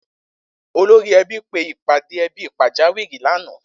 Olórí e̩bí pe ìpàdé e̩bí pàjáwìrì lánàá